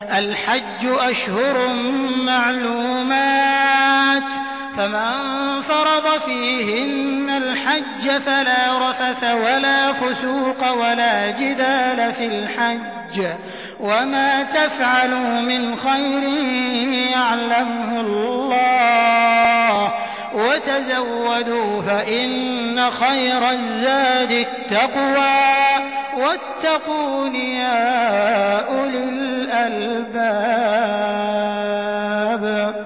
الْحَجُّ أَشْهُرٌ مَّعْلُومَاتٌ ۚ فَمَن فَرَضَ فِيهِنَّ الْحَجَّ فَلَا رَفَثَ وَلَا فُسُوقَ وَلَا جِدَالَ فِي الْحَجِّ ۗ وَمَا تَفْعَلُوا مِنْ خَيْرٍ يَعْلَمْهُ اللَّهُ ۗ وَتَزَوَّدُوا فَإِنَّ خَيْرَ الزَّادِ التَّقْوَىٰ ۚ وَاتَّقُونِ يَا أُولِي الْأَلْبَابِ